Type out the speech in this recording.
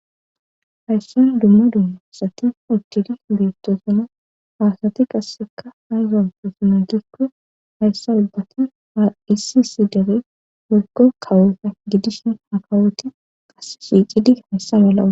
hayssan dumma dumma asati uchcidi beettosuma haasati qasseka hayzanto suma gikko hayssa ubbatan ha issi isi dere morgo kawoota gidishin akawoti qas shiicidi hayssa malau